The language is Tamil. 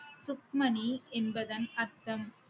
சுக்மணி என்பதன் அர்த்தம்